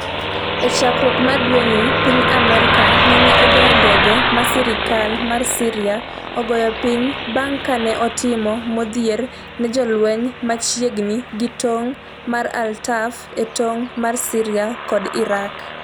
E chakruok mar dwe ni, piny Amerka nene ogoyo ndege ma sirikal mar Syria ogoyo piny bang' ka ne otimo modhier ne jolweny machiegni gi tong' mar al-Tanf e tong' mar Syria kod Iraq.